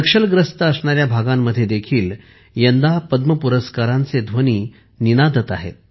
नक्षलग्रस्त असणाऱ्या भागांमध्येही यंदा पद्म पुरस्कारांचे प्रतिध्वनी ऐकू येत आहेत